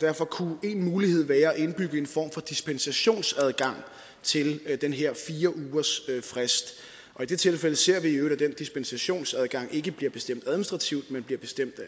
derfor kunne en mulighed være at indbygge en form for dispensationsadgang til den her fire ugers frist og i det tilfælde ser vi i øvrigt at dispensationsadgang ikke bliver bestemt administrativt men bliver bestemt af